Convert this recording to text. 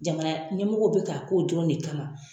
Jamana ɲɛmɔgɔ bɛ ka k'o dɔrɔn de kama